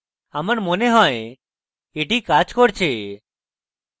আমার মনে হয় এটি কাজ করেছে